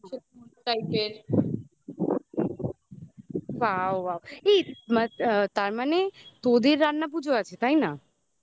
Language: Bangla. wow wow এই তার মানে তোদের রান্না পুজো আছে তাই না